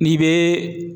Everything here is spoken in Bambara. N'i bɛ